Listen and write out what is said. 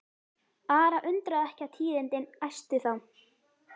Ara undraði ekki að tíðindin æstu þá.